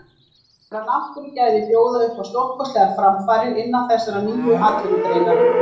Þessi náttúrugæði bjóða upp á stórkostlegar framfarir innan þessarar nýju atvinnugreinar.